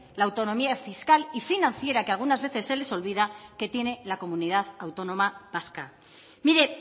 la autonomía fiscal y financiera que algunas veces se les olvida que tiene la comunidad autónoma vasca mire